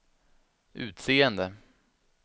utseende